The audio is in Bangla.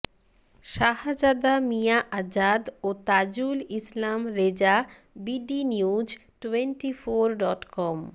শাহজাদা মিয়া আজাদ ও Tajul Islam Reza BD news twenty four dot com